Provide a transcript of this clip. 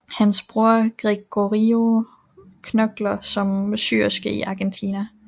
Hans bror Gregorio knokler som syerske i Argentina